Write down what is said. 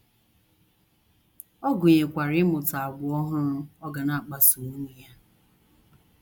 Ọ gụnyekwara ịmụta àgwà ọhụrụ ọ ga na - akpaso nwunye ya.